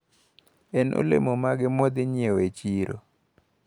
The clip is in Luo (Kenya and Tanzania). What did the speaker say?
En olemo mage mawadhi nyiewo e chiro?